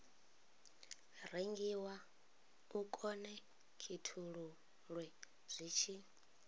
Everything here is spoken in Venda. rengiwa u khonekhithululwe zwi tshi